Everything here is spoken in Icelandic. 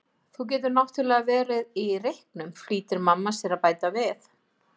Þú getur náttúrlega verið í reyknum, flýtir mamma sér að bæta við.